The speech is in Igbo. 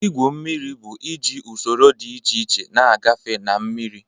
Ígwu mmiri bụ iji usoro dị iche iche na-agafe na mmiri.